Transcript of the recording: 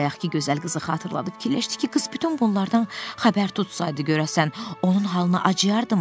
Bayaqkı gözəl qızı xatırladı, fikirləşdi ki, qız bütün bunlardan xəbər tutsaydı, görəsən, onun halına acıyardımı?